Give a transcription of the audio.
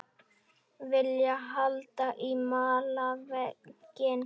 Vilja halda í malarveginn